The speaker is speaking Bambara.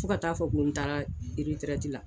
Fo ka ta fɔ ko n taara eretɛrɛtila.